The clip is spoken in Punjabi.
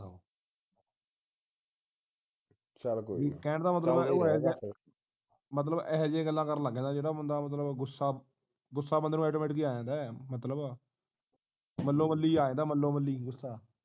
ਕਹਿਣ ਦਾ ਮਤਲਬ ਤੂ ਇਹੋ ਜਾ ਮਤਲਬ ਇਹੋ ਜੀਆ ਗੱਲਾਂ ਕਰਨ ਲੱਗ ਜਿਹੜਾ ਬੰਦਾ ਮਤਲਬ ਗੁੱਸਾ ਗੁੱਸਾ ਬੰਦੇ ਨੂੰ AUTOMATIC ਆ ਜਾਂਦਾ ਮਤਲਬ ਮੱਲੋ ਮੱਲੀ ਆ ਜਾਂਦਾ ਮੱਲੋ ਮੱਲੀ ਗੁੱਸਾ